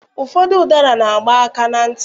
Ụfọdụ ụdara na-agba aka na ntị.